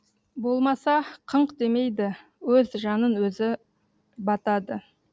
болмаса қыңқ демейді өз жанын өзі батады